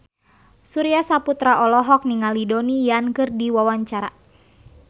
Surya Saputra olohok ningali Donnie Yan keur diwawancara